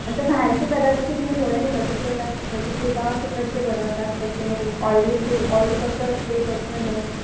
आता बाहेरचे पदार्थ तुम्ही डोळ्याने बघितलेलं बघितले का ते कसे बनवतात कसे नाही ऑईली ते ऑइल कसं असते कसं नाही.